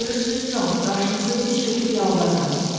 Görürsüz Con, qarşınızda diz çöküb yalvarıram.